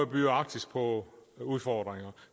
byder arktis på udfordringer